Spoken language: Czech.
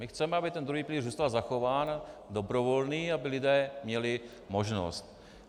My chceme, aby ten druhý pilíř zůstal zachován, dobrovolný, aby lidé měli možnost.